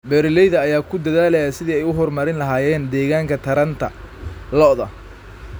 Beeralayda ayaa ku dadaalaya sidii ay u horumarin lahaayeen deegaanka taranta lo'da.